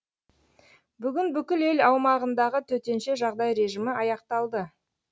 бүгін бүкіл ел аумағындағы төтенше жағдай режимі аяқталды